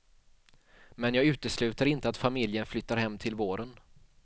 Men jag utesluter inte att familjen flyttar hem till våren.